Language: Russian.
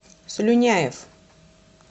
слюняев